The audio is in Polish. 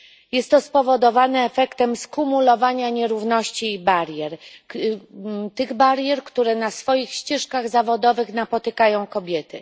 Jest to spowodowane efektem skumulowania nierówności i barier. Tych barier, które na swoich ścieżkach zawodowych napotykają kobiety.